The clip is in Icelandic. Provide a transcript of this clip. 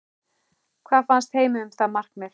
Hvað fannst Heimi um það markmið?